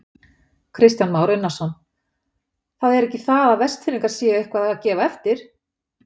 Kristján Már Unnarsson: Það er ekki það að Vestfirðingar séu eitthvað að gefa eftir?